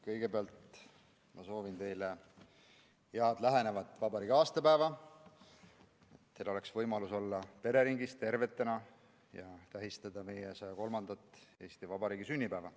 Kõigepealt soovin teile head lähenevat vabariigi aastapäeva, et teil oleks võimalus olla tervena pereringis ja tähistada meie Eesti Vabariigi 103. sünnipäeva.